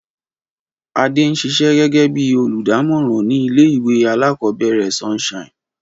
Adé n sisé gégé bí olùdámòràn ní ilé ìwé alákòóbèrè Sunshine